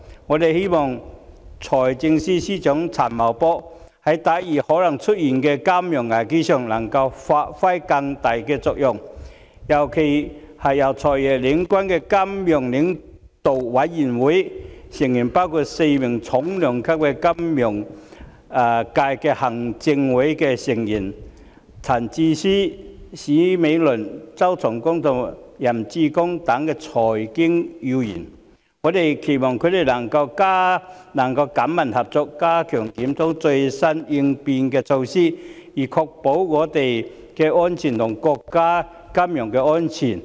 我們希望財政司司長陳茂波在抵禦可能出現的金融危機方面，能夠發揮更大的作用，尤其是由"財爺"領軍的金融領導委員會，成員包括4名重量級的金融界行政會議成員，分別為陳智思、史美倫、周松崗和任志剛，以及財經要員，我們期望他們能緊密合作，加強檢討最新的應變措施，以確保我們和國家的金融安全。